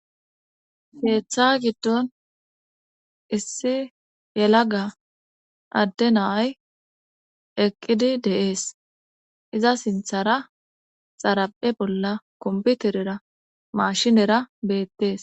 heeththa giddon issi yelaga adde naay eqqidi deees iza sinthara xaraphe bolla komputerera mashinera beettees